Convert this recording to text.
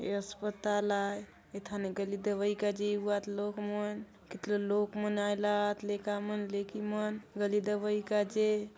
ये अस्पताल आय एथाने गोली दवाई काजे ए वात लोग मन कितरो लोग मन आय ला आत लेका मन लेकि मन गोली दवाई काजे --